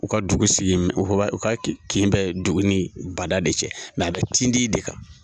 U ka dugu sigi, u ka kin bɛ dugu nin bada de cɛ, nka a bɛ tindi de kan.